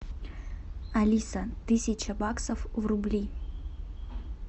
алиса тысяча баксов в рубли